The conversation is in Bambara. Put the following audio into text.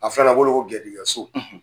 A filanan bolo garijigso